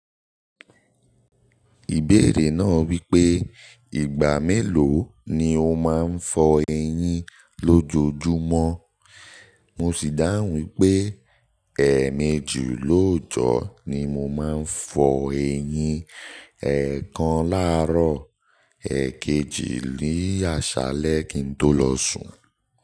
Ìbéèrè náà wípé ìgbà mélòó ni o máa ń fọ eyín lójoojúmọ́, mo sì dáhùn wípé èemẹji lóòjọ́ ni mo máa ń fọ eyín, ẹ̀ẹ̀kan láàárọ̀, èekejì ní àṣálẹ́ kí n tó lọ sùn.